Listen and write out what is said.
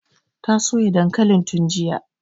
Ta soya dankalin tun jiya